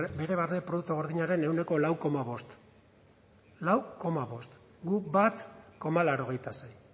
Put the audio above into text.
bere barne produktu gordinaren ehuneko lau koma bost lau koma bost guk bat koma laurogeita sei